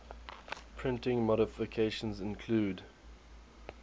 printing modifications include